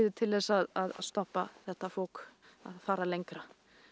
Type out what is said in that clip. til að stoppa þetta fok að fara lengra